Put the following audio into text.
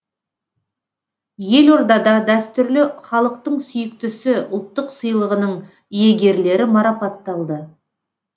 елордада дәстүрлі халықтың сүйіктісі ұлттық сыйлығының иегерлері марапатталды